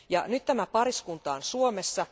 Nyt tämä pariskunta on Suomessa.